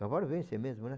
Cavalo vence mesmo, né?